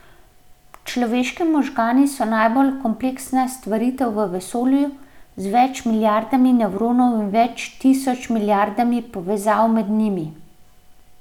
Človeški možgani so najbolj kompleksna stvaritev v vesolju, z več milijardami nevronov in več tisoč milijardami povezav med njimi.